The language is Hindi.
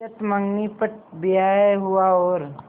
चट मँगनी पट ब्याह हुआ और